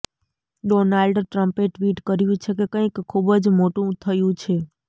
Donald ટ્રમ્પે tweet કર્યું છે કે કંઈક ખૂબ જ મોટું થયું છે